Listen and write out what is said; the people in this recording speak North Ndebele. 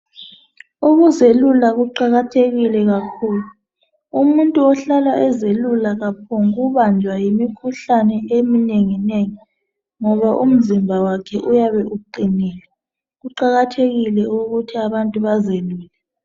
Ukuzelula kuqakathekile kakhulu umuntu ohlala ezelula kaphokubanjwa yimikhuhlane eminenginengi ngoba umzimba wakhe uyabe uqinile kuqakethekile ukuthi abantu bazelule.